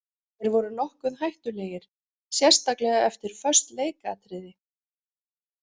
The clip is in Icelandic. Þeir voru nokkuð hættulegir sérstaklega eftir föst leikatriði.